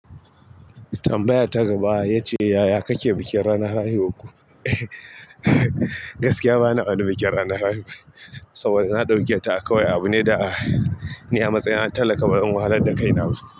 Tambayar ta gaba ya ce, "yaya kake bikin ranar haihuwar ku?" Bana wani bikin ranar haihuwa, saboda na ɗauke ta kawai abu ne da, ni amatsayi na talaka bazan wahalar da kai na ba.